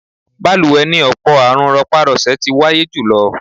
Balùwẹ̀ ni ọ̀pọ̀ àrùn rọpá-rọsẹ̀ ti wáyé jùlọ.